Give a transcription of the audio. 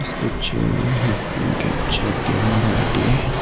picture has been captured during the day.